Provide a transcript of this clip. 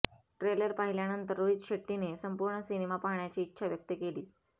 trailer पाहिल्यानंतर रोहित शेट्टीने संपूर्ण सिनेमा पाहण्याची इच्छा व्यक्त केली